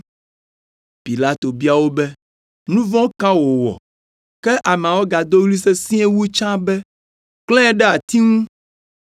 Pilato bia wo be, “Nu vɔ̃ ka wòwɔ?” Ke ameawo gado ɣli sesĩe wu tsã be, “Klãe ɖe ati ŋu!”